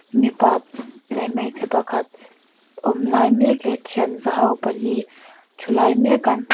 mipa leh hmeichhe pakhat awm lai mek leh thinza ho pali thu lai mek an hmu--